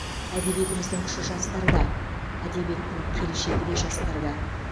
әдебиетіміздің күші жастарда әдебиеттің келешегі де жастарда